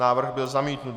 Návrh byl zamítnut.